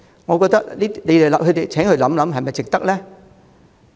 我請他們想一想，這樣做是否值得呢？